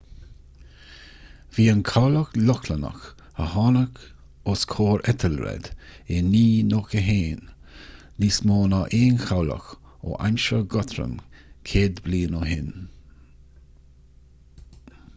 bhí an cabhlach lochlannach a tháinig os comhair ethelred i 991 níos mó ná aon chabhlach ó aimsir guthrum céad bliain ó shin